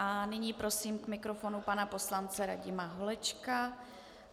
A nyní prosím k mikrofonu pana poslance Radima Holečka.